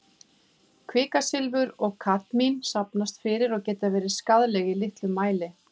Kvikasilfur og kadmín safnast fyrir og geta verið skaðleg í litlum mæli.